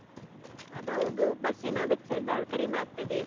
ಅದ್ ಹೌದು. bus ನ ವೆಚ್ಚ ಎಲ್ಲ ಕಡಿಮೆ ಆಗ್ತದೆ.